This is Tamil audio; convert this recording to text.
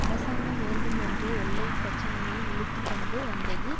அரசாங்கம் வேண்டும் என்றே எல்லை பிரச்சினையை இழுத்து கொண்டு வந்தது